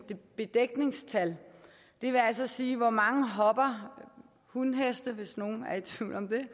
bedækningstal det vil altså sige hvor mange hopper hunheste hvis nogen er i tvivl om det